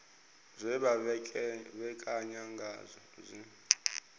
zwe vha ṋekana ngazwo zwi